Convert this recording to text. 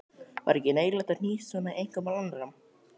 Var ekki neyðarlegt að hnýsast svona í einkamál annarra?